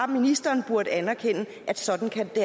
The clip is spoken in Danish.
ministeren burde anerkende at sådan kan det